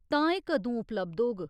तां एह् कदूं उपलब्ध होग?